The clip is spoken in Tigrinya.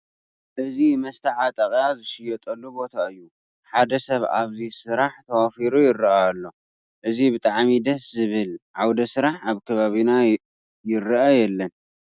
እዚ መስተዓጠቐያ ዝሽየጠሉ ቦታ እዩ፡፡ ሓደ ሰብ ኣብዚ ስራሕ ተዋፊሩ ይርአ ኣሎ፡፡ እዚ ብጣዕሚ ደስ ዝብል ዓውደ ስራሕ ኣብ ከባቢና ይርአ የለን፡፡